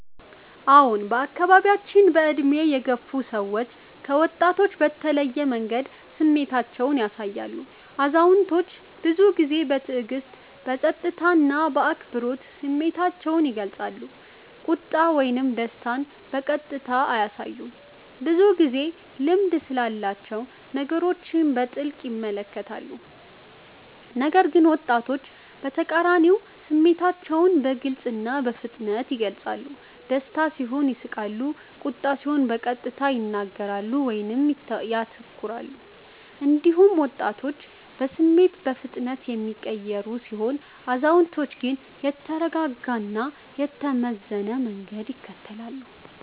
አዎን፣ በአካባቢያችን በዕድሜ የገፉ ሰዎች ከወጣቶች በተለየ መንገድ ስሜታቸውን ያሳያሉ። አዛውንቶች ብዙ ጊዜ በትዕግስት፣ በጸጥታ እና በአክብሮት ስሜታቸውን ይገልጻሉ፤ ቁጣ ወይም ደስታን በቀጥታ አያሳዩም፣ ብዙ ጊዜ ልምድ ስላላቸው ነገሮችን በጥልቅ ይመለከታሉ። ነገር ግን ወጣቶች በተቃራኒው ስሜታቸውን በግልጽ እና በፍጥነት ይገልጻሉ፤ ደስታ ሲሆን ይስቃሉ፣ ቁጣ ሲሆን በቀጥታ ይናገራሉ ወይም ይተኩራሉ። እንዲሁም ወጣቶች በስሜት በፍጥነት የሚቀየሩ ሲሆኑ፣ አዛውንቶች ግን የተረጋጋ እና የተመዘነ መንገድ ይከተላሉ።